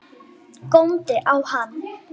Góndi á hann.